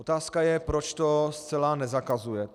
Otázka je, proč to zcela nezakazuje.